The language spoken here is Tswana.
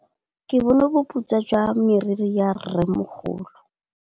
Ke bone boputswa jwa meriri ya rrêmogolo.